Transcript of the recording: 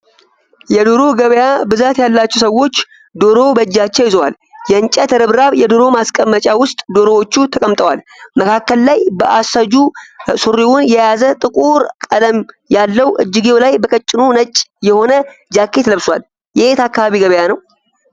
የዶሮ ገበያ ብዛት ያላቸዉ ሰዎች ዶሮ በእጃቸዉ ይዘዋል። የእንጭት ርብራብ የዶሮ ማስቀመጫ ዉስጥ ዶሮዎቹ ተቀምጠዋል። መካከል ላይ በአሰጁ ሱሪዉን የያዘ ጥቁር ቀለም ያለዉ እጅጌዉ ላይ በቀጭኑ ነጭ የሆነ ጃኬት ለብሷል። የየት አካባቢ ገበያ ነዉ?